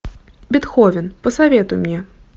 бетховен посоветуй мне